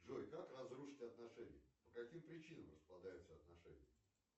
джой как разрушить отношения по каким причинам распадаются отношения